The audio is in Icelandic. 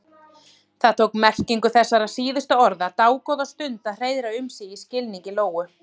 Það tók merkingu þessara síðustu orða dágóða stund að hreiðra um sig í skilningi Lóu.